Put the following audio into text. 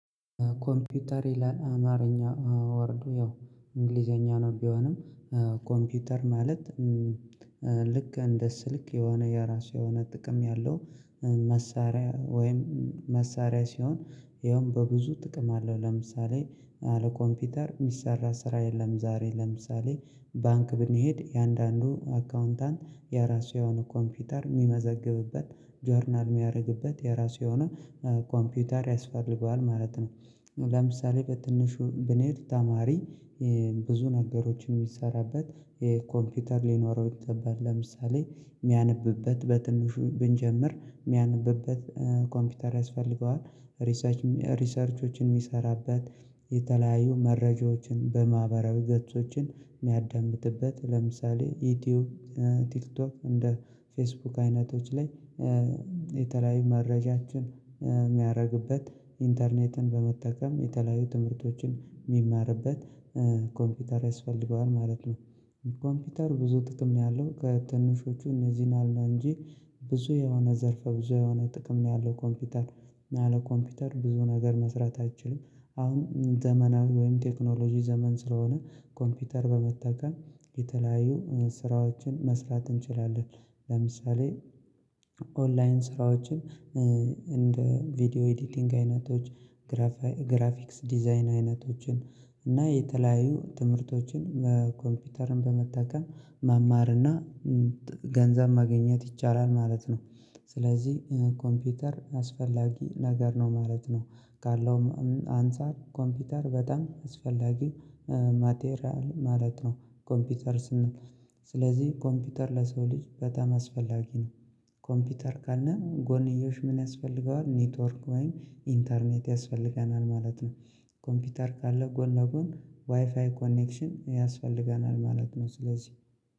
ኮምፒውተር ይላል አማርኛ ወርዱ ያው እንግሊዘኛ ነው ቢሆንም። ኮምፒውተር ማለት ልክ እንደ ስልክ የሆነ የራሱ የሆነ ጥቅም ያለው። መሳሪያ ወይም መሳሪያ ሲሆን ይኸውም በብዙ ጥቅም አለው። ለምሳሌ ያለ ኮምፒውተር ሚሰራ ስራ የለም ዛሬ ለምሳሌ ባንክ ብንሄድ የአንዳንዱ አካውንታንት የራሱ የሆነ ኮምፒውተር የሚመዘግብበት ጆርናል የሚያደርግበት የራሱ የሆነ ኮምፒውተር ያስፈልገዋል ማለት ነው። ለምሳሌ በትንሹ ብንሄድ ተማሪ ብዙ ነገሮችን የሚሰራበት ኮምፒውተር ሊኖረው ይገባል። ለምሳሌ የሚያነብበት በትንሹ ብንጀምር የሚያነብበት ኮምፒውተር ያስፈልገዋል። ሪሰርቾችን የሚሰራበት የተለያዩ መረጃዎችን በማህበራዊ ገጾችን የሚያዳምጥበት ለምሳሌ ዩቲዩብ ቲክቶክ እንደ ፌስቡክ አይነቶች ላይ የተለያዩ መረጃችን የሚያደርግበት ኢንተርኔትን በመጠቀም የተለያዩ ትምህርቶችን የሚማርበት ኮምፒውተር ያስፈልገዋል ማለት ነው። ኮምፒውተር ብዙ ጥቅም ነው ያለው ከትንሹ እነዚህን አላንጂ ብዙ የሆነ ዘርፈ ብዙ የሆነ ጥቅም ነው ያለው። ኮምፒውተር አለ ኮምፒውተር ብዙ ነገር መስራት አይችልም። አሁን ዘመናዊ ወይም ቴክኖሎጂ ዘመን ስለሆነ ኮምፒውተር በመጠቀም የተለያዩ ስራዎችን መስራት እንችላለን። ለምሳሌ ኦንላይን ስራዎችን እንደ ቪዲዮ ኤዲቲንግ አይነቶች ግራፊክስ ዲዛይን አይነቶችን እና የተለያዩ ትምህርቶችን በኮምፒውተርን በመጠቀም ማማር ገንዘብ ማግኘት ይቻላል ማለት ነው። ስለዚህ ኮምፒውተር አስፈላጊ ነገር ነው ማለት ነው። ካለውም አንፃር ኮምፒውተር በጣም አስፈላጊ ማቴሪያል ማለት ነው። ኮምፒውተር ስንል ስለዚህ ኮምፒውተር ለሰው ልጅ በጣም አስፈላጊ ነው። ኮምፒውተር ካለ ጎንዮሽ ምን ያስፈልገዋል? ኔትወርክ ወይም ኢንተርኔት ያስፈልገናል ማለት ነው። ኮምፒውተር ካለ ጎን ለጎን ዋይፋይ ኮኔክሽን ያስፈልገናል ማለት ነው። ስለዚህ